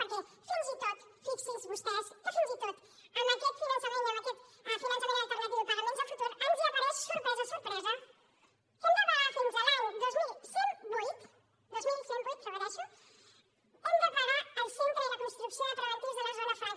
perquè fins i tot fixin se vostès que fins i tot amb aquest finançament i amb aquest finançament alternatiu i pagaments a futur ens apareix sorpresa sorpresa que hem de pagar fins a l’any dos mil cent i vuit dos mil cent i vuit ho repeteixo hem de pagar el centre i la construcció de preventius de la zona franca